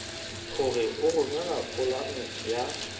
hore o romele polane ya